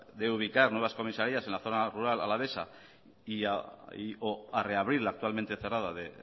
de ubicar nuevas comisarías en la zona rural alavesa y o a reabrir la actualmente cerrada de